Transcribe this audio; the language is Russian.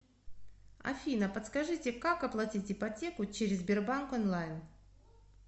афина подскажите как оплатить ипотеку через сбербанк онлайн